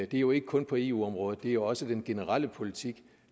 det er jo ikke kun på i eu området det er også den generelle politik